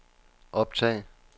optag